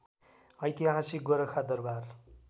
ऐतिहासिक गोरखा दरवार